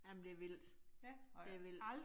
Jamen det vildt. Det vildt